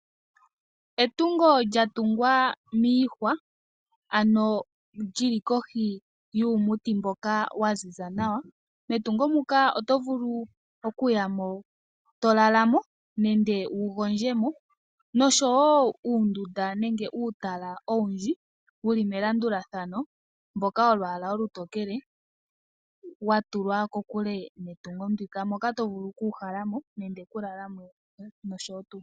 Etungo lyatungwa miihwa ano tali monika kohi yuumuti mboka waziza nawa. Metungo muka otovulu okuya mo tolala mo nenge tovulu oku gondjamo. Otamu monika woo uundunda nenge uutala owundji wuli melandulathano mboka wolwaala olutokele watulwa kokule netungo ndika .Moka tovulu woo okugondja mo nenge okulala mo nosho tuu.